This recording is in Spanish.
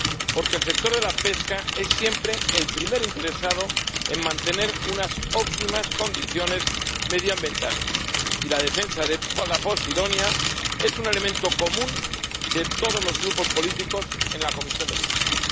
Porque el sector de la pesca es siempre el primer interesado en mantener unas óptimas condiciones medioambientales, y la defensa de la posidonia es un elemento común de todos los grupos políticos en la Comisión de Pesca.